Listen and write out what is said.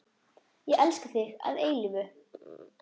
Ég elska þig að eilífu.